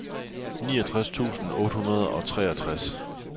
niogtres tusind otte hundrede og treogtres